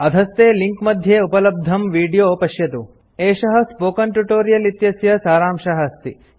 अधस्थे लिंक मध्ये उपलब्धं विडियो पश्यन्तुhttpspoken tutorialorgWhat is a Spoken Tutorial एषः स्पोकन ट्यूटोरियल इत्यस्य सारांशः अस्ति